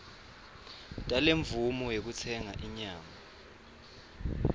talemvumo yekutsenga inyama